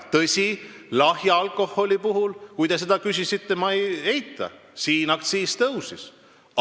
Tõsi, ma ei eita, et lahja alkoholi puhul, kui te selle kohta küsite, aktsiis tõusis.